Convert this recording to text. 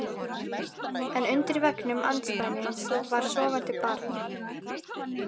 En undir veggnum andspænis var sofandi barn.